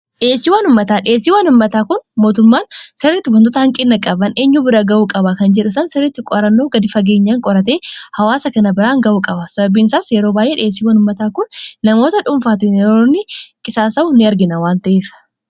dhiheessiwwan ummataa. dhiheessiiwwan uummataa kun mootummaan sirritti wantoota hanqina qaban eenyuu bira ga'uu qaba kan jedhusan sirriitti qoarannoo gadi fageenya qorate hawaasa kana biraan ga'uu qaba sababiin isaas yeroo baay'ee dhiheessii wan ummataa kun namoota dhuunfaatti yeroonni qisaasa'u ni argina waanta'eef